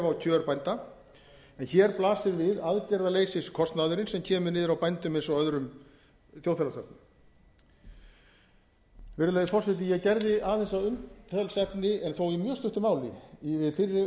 á kjör bænda en hér blasir við aðgerðaleysiskostnaðurinn sem kemur niður á bændum eins og öðrum þjóðfélagsþegnum virðulegi forseti ég gerði aðeins að umtalsefni en þó í mjög stuttu máli við